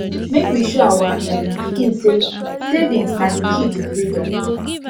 make we show our um pikin say savings na the key to freedom